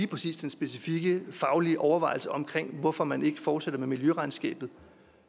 præcis den specifikke faglige overvejelse om hvorfor man ikke fortsætter med miljøregnskabet og